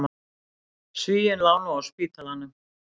Svíinn lá nú á spítalanum.